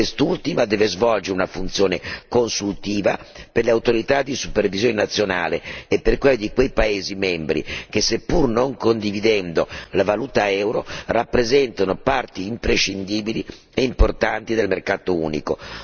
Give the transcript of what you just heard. Essa deve svolgere una funzione consultiva per le autorità di supervisione nazionali e per quelle di quei paesi membri che, seppur non condividendo la valuta euro, rappresentano parti imprescindibili e importanti del mercato unico.